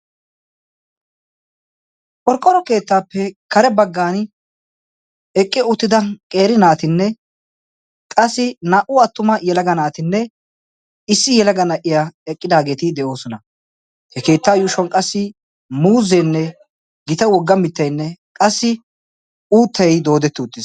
porqqoro keettaappe kare baggan eqqi uttida qeeri naatinne qassi naa77u attuma yelaga naatinne issi yelaga na77iya eqqidaageeti de7oosona . he keetta yuushuwan qassi muuzzeenne gita wogga, mitteinne, qassi uuttei doodetti uttis